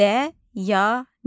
Dəyanət.